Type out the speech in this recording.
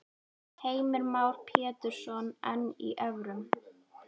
Heimir Már Pétursson: En í evrum?